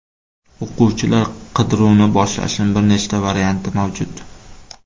O‘quvchilar qidiruvini boshlashning bir nechta varianti mavjud.